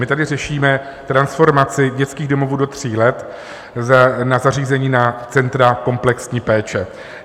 My tady řešíme transformaci dětských domovů do tří let na zařízení, na centra komplexní péče.